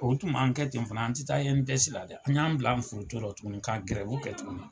U tun man kɛ ten fana an te taa dɛ, an y'an bila an foronto la tukuni ka kɛ tukuni.